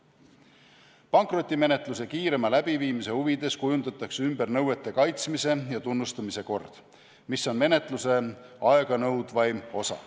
Pankrotimenetluse kiirema läbiviimise huvides kujundatakse ümber nõuete kaitsmise ja tunnustamise kord, mis on menetluse aeganõudvaim osa.